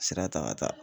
Sira ta ka taa